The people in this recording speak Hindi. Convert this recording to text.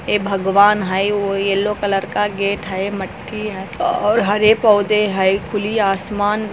लाल कलर का पेंट मेनी गेट के ऊपर और सड़क दिखाई दे रहा है सड़क के किनारे पीले और केल कलर का पेंट है|